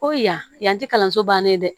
Ko yan yanti kalanso bannen dɛ